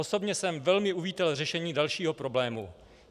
Osobně jsem velmi uvítal řešení dalšího problému.